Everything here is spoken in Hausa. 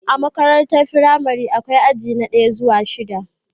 A makarantar firamare akwai aji na daya zuwa shida